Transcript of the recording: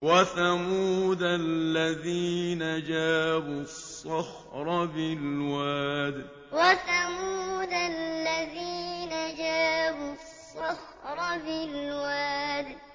وَثَمُودَ الَّذِينَ جَابُوا الصَّخْرَ بِالْوَادِ وَثَمُودَ الَّذِينَ جَابُوا الصَّخْرَ بِالْوَادِ